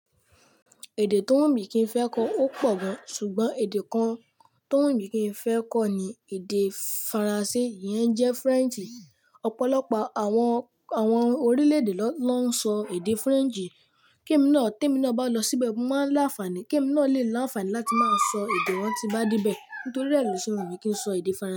Èdè tó Wùnmìkín fẹ́ kọ́ ó pọ̀ gan, ṣùgbọ́n èdè kan tó Wùnmìkín fẹ́ kọ́ ni èdè Faransé, ìyẹn jẹ́ French. Ọ̀pọ̀lọpọ̀ àwọn, àwọn orílẹ̀-èdè ló ń sọ èdè French. Kí èmi náà, tí èmi náà bá lọ síbẹ̀, mo máa ní àǹfààní, kí èmi náà lè ní àǹfààní láti máa sọ èdè wọn tí n bá dé bẹ́ẹ̀ nítorí ẹ́ lo se Wùnmì kín sọ èdè Faransé.